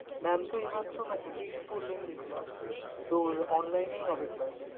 Mam! তো এই মাত্র text করলেন দেখলাম, তোর online এই হবে class ।